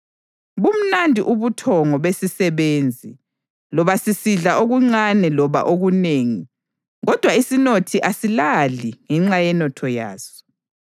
Bumnandi ubuthongo besisebenzi, loba sisidla okuncane loba okunengi, kodwa isinothi asilali ngenxa yenotho yaso.